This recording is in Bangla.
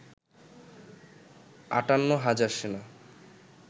৫৮ হাজার সেনা